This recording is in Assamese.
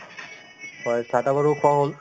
হয় চাহ-তাহ বাৰু খোৱা হ'ল